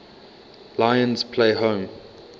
lions play home